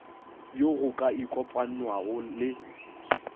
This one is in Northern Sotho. yo go ka ikopanwago le